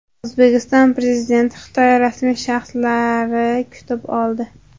O‘zbekiston Prezidentini Xitoy rasmiy shaxslari kutib oldi.